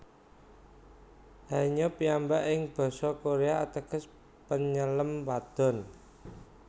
Haenyeo piyambak ing basa Korea ateges Penyelem Wadon